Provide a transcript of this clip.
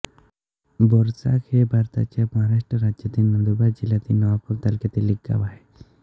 बोरचाक हे भारताच्या महाराष्ट्र राज्यातील नंदुरबार जिल्ह्यातील नवापूर तालुक्यातील एक गाव आहे